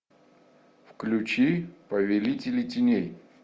включи повелители теней